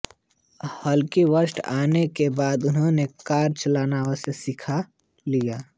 हालांकि बॉस्टन आने के बाद उन्होंने कार चलाना अवश्य सीख लिया